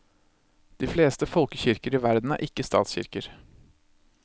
De fleste folkekirker i verden ikke er statskirker.